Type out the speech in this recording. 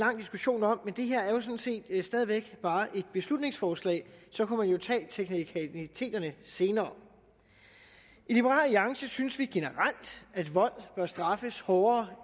lang diskussion om men det her er stadig væk bare et beslutningsforslag så kan man jo tage teknikaliteterne senere i liberal alliance synes vi generelt at vold bør straffes hårdere